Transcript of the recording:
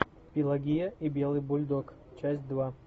пелагея и белый бульдог часть два